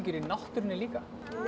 í náttúrunni líka